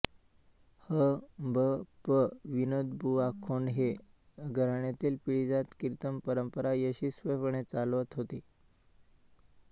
ह भ प विनोदबुवा खोंड हे घराण्यातील पिढीजात कीर्तनपरंपरा यशस्वीपणे चालवत आहेत